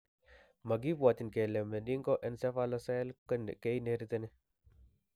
Makibwatyin kele meningoencephalocele keinheriteni